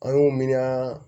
An y'u miiriyan